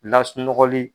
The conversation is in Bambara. Lasunɔgɔli